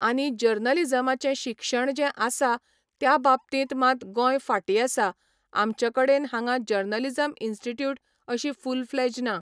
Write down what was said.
आनी जर्नलीजमाचें शिक्षण जें आसा त्या बाबतींत मात गोंय फाटीं आसा आमचे कडेन हांगा जर्नलिजम इन्स्टिट्यूट अशी फूल फ्लेज ना